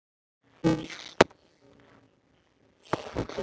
Það er hagur allra.